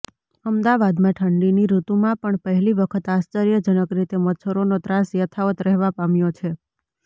અમદાવાદમાં ઠંડીની ઋતુમાં પણ પહેલી વખત આશ્ચર્યજનક રીતે મચ્છરોનો ત્રાસ યથાવત્ રહેવા પામ્યો છે